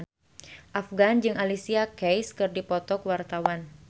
Afgan jeung Alicia Keys keur dipoto ku wartawan